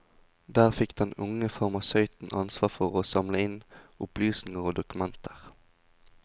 Der fikk den unge farmasøyten ansvar for å samle inn opplysninger og dokumenter.